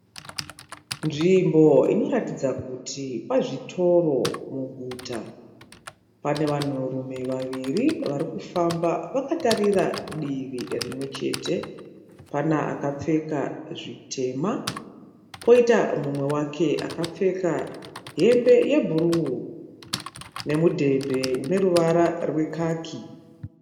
Nzvimbo inoratidza kuti pazvitoro muguta, pane vanhurume vaviri vari kufamba vakatarira divi rimwe chete, pana akapfeka zvitema poita mumwe wake akapfeka hembe yebhuruu nemudhebhe uneruvara rwekaki.